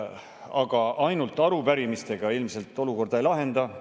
Aga ainult arupärimistega ilmselt olukorda ei lahenda.